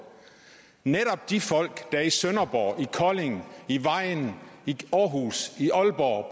netop de folk der i sønderborg i kolding i vejen i århus i aalborg